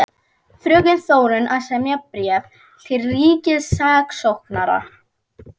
Fröken Þórunn að semja bréf til ríkissaksóknara.